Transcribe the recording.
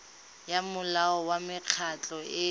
ya molao wa mekgatlho e